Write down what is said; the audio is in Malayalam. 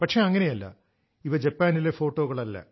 പക്ഷെ അങ്ങനെയല്ല ഇവ ജപ്പാനിലെ ഫോട്ടോകളല്ല